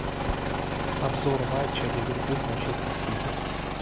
обзор матча ливерпуль манчестер сити